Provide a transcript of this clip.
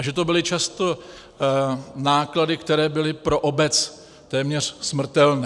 A že to byly často náklady, které byly pro obec téměř smrtelné!